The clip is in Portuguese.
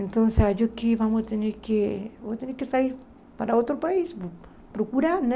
Então, acho que vamos ter que... Vou ter que sair para outro país, procurar, né?